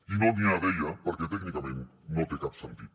i no n’hi ha deia perquè tècnicament no té cap sentit